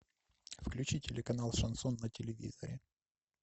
включи телеканал шансон на телевизоре